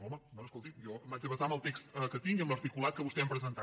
home bé escolti’m jo m’haig de basar en el text que tinc i en l’articulat que vostès han presentat